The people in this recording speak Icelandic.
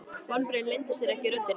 Vonbrigðin leyndu sér ekki í röddinni.